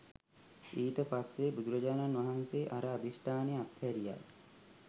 ඊට පස්සේ බුදුරජාණන් වහන්සේ අර අධිෂ්ඨානය අත්හැරියා